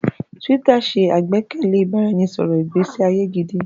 Twitter ṣẹ̀ àgbékalẹ̀ ìbáraẹnisọ̀rọ̀ ìgbésí ayé gídí.